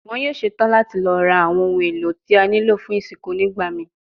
Wọn yoo ṣetan lati lọ ra awọn ohun elo ti o nilo fun isinku nigbamii